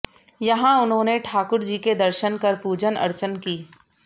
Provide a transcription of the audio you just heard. यहां उन्होंने ठाकुर जी के दर्शन कर पूजन अर्चन की